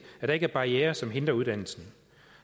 at der ikke er barrierer som hindrer uddannelsen